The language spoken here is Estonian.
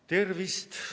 Tervist!